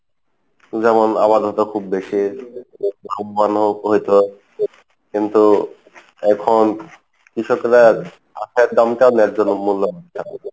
যেমন আবাদ হতো খুব বেশি কিন্তু এখন কৃষকেরা আখের দামটা ন্যায্যতা মুল্যক